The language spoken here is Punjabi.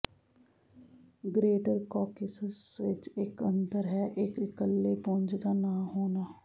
ਗ੍ਰੇਟਰ ਕਾਕੇਸਸ ਵਿੱਚ ਇੱਕ ਅੰਤਰ ਹੈ ਇੱਕ ਇੱਕਲੇ ਪੁੰਜ ਦਾ ਨਾ ਹੋਣਾ